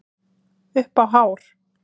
Upp á hár.